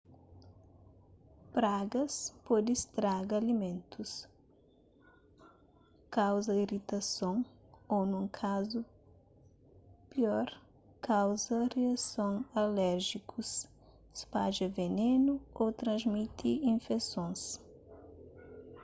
pragas pode straga alimentus kauza iritason ô nun kazu piir kauza riason aléjikus spadja venenu ô transmiti infesons